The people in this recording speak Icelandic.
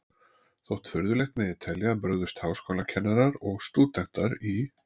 Þótt furðulegt megi telja, brugðust háskólakennarar og stúdentar í